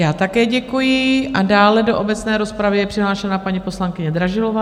Já také děkuji a dále do obecné rozpravy je přihlášena paní poslankyně Dražilová.